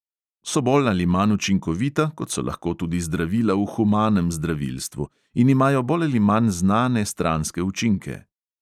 So bolj ali manj učinkovita, kot so lahko tudi zdravila v humanem zdravilstvu, in imajo bolj ali manj znane stranske učinke.